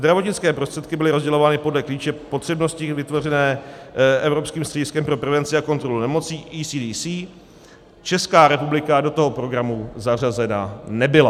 Zdravotnické prostředky byly rozdělovány podle klíče potřebnosti vytvořeného evropským střediskem pro prevenci a kontrolu nemocí ECDC, Česká republika do toho programu zařazena nebyla.